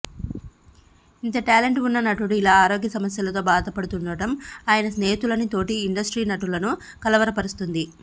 ఇంత టాలెంట్ ఉన్న నటుడు ఇలా ఆరోగ్య సమస్యలతో భాదపడుతుండటం ఆయన స్నేహితులని తోటి ఇండస్ట్రీ నటులను కలవరపరుస్తుంది